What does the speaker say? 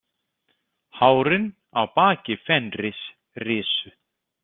Hárin á baki Fenris risu.